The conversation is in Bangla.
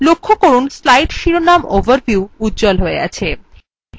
লক্ষ্য করুন slide শিরোনাম overview উজ্জ্বল হয়ে আছে